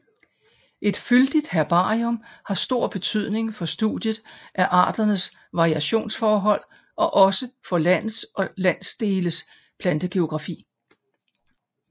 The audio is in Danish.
Et fyldigt herbarium har stor betydning for studiet af arternes variationsforhold og også for landes og landsdeles plantegeografi